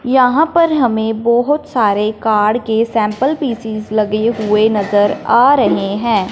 यहां पर हमें बहुत सारे कार के सैंपल पीस लगे हुए नजर आ रहे हैं।